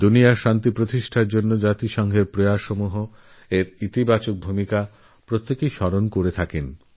বিশ্বে শান্তি স্থাপনে রাষ্ট্রসঙ্ঘেরর প্রয়াস এরসদর্থক ভূমিকার কথা মনে রাখে সবাই